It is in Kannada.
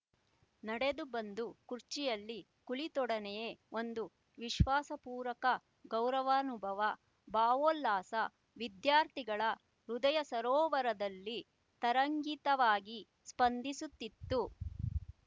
ನಡೆದು ಬಂದು ಕುರ್ಚಿಯಲ್ಲಿ ಕುಳಿತೊಡನೆಯೆ ಒಂದು ವಿಶ್ವಾಸಪೂರಕ ಗೌರವಾನುಭವ ಭಾವೋಲ್ಲಾಸ ವಿದ್ಯಾರ್ಥಿಗಳ ಹೃದಯಸರೋವರದಲ್ಲಿ ತರಂಗಿತವಾಗಿ ಸ್ಪಂದಿಸುತ್ತಿತ್ತು